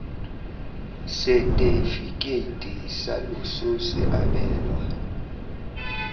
setefikeiti sa loso se abelwa